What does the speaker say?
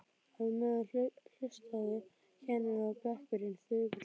Á meðan hlustuðu kennarinn og bekkurinn þögul á.